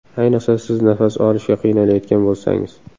Ayniqsa siz nafas olishga qiynalayotgan bo‘lsangiz.